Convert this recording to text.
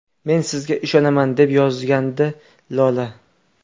Men sizga ishonaman!” deb yozgandi Lola.